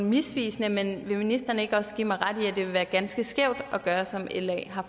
misvisende men vil ministeren ikke også give mig ret i at det ville være ganske skævt at gøre som la har